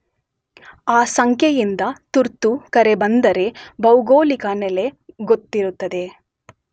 ಆ ಸಂಖ್ಯೆಯಿಂದ ತುರ್ತು ಕರೆ ಬಂದರೆ ಭೌಗೋಳಿಕ ನೆಲೆ ಗೊತ್ತಿರುತ್ತದೆ.